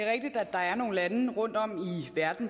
der er nogle lande rundtom i verden